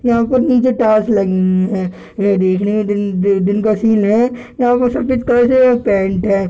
यहाँ पर नीचे टाइल्स लगी हुई हैं ये देखने में दिन अ दिन का सीन है यहाँ पर सफ़ेद कलर का पेंट है।